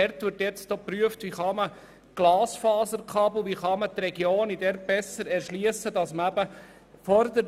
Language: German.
Es wird geprüft, wie man die abgelegenen Regionen besser erschliessen kann, beispielsweise durch ein Glasfasernetz.